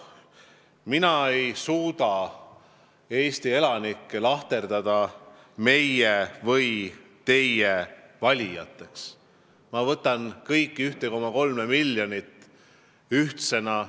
Mina ei suuda Eesti elanikke lahterdada meie või teie valijateks, ma võtan kõiki, seda 1,3 miljonit ühtsena.